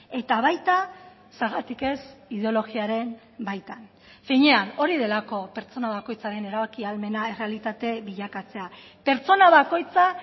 eta baita zergatik ez ideologiaren baitan finean hori delako pertsona bakoitzaren erabaki ahalmena errealitate bilakatzea pertsona bakoitza